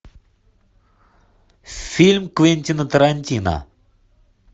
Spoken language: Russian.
фильм квентина тарантино